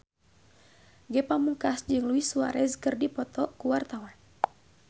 Ge Pamungkas jeung Luis Suarez keur dipoto ku wartawan